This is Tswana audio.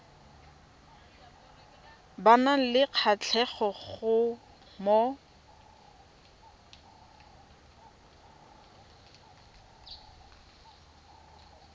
ba nang le kgatlhego mo